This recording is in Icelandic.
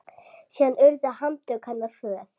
Síðan urðu handtök hennar hröð.